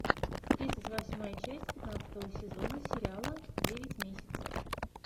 тридцать восьмая часть пятнадцатого сезона сериала девять месяцев